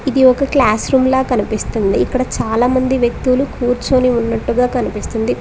ఇది ఒక classroom లా కనిపిస్తుంది ఇక్కడ చాలామంది వ్యక్తులు కూర్చోని ఉన్నట్టుగా కనిపిస్తుంది.